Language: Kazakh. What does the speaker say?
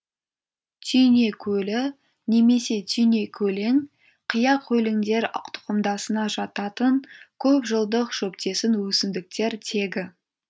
түйнекөлі немесе түйнекөлең қияқөлеңдер тұқымдасына жататын көп жылдық шөптесін өсімдіктер тегі